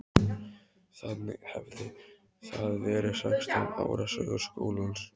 Þannig hefði það verið sextán ára sögu skólans.